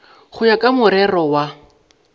go ya ka morero wa